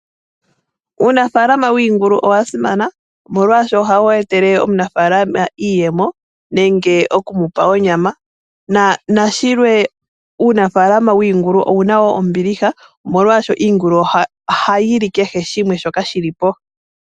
Uunafaalama wiingulu owasimana omolwaasho ohawu etele omunafaalama iiyemo nenge okumupa onyama. Nashilwe uunafaalama wiingulu owuna wo ombiliha omoolwaasho iingulu ohayi li kehe shimwe shoka shili po.